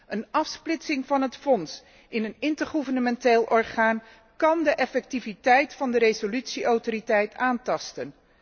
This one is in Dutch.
Een afsplitsing van het fonds in een intergouvernementeel orgaan kan de effectiviteit van de resolutie autoriteit aantasten.